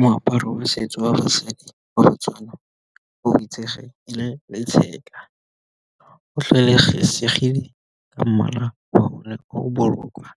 Moaparo wa setso wa basadi wa motswana o itsege e le tshega, go ka mmala wa bone o bolokwa